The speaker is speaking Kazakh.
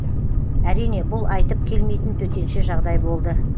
әрине бұл айтып келмейтін төтенше жағдай болды